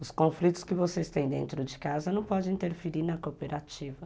Os conflitos que vocês têm dentro de casa não podem interferir na cooperativa.